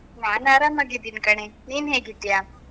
ನಾನ್ ಆರಾಮಾಗಿದ್ದೀನಿ ಕಣೇ, ನೀನ್ ಹೇಗಿದ್ದೀಯಾ?